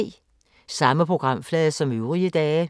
Samme programflade som øvrige dage